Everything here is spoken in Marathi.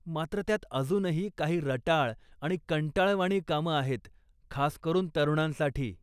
मात्र, त्यात अजूनही, काही रटाळ आणि कंटाळवाणी कामं आहेत, खास करून तरुणांसाठी.